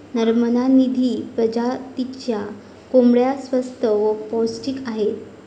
नर्मदा निधी प्रजातीच्या कोंबड्या स्वस्त व पौष्टिक आहेत.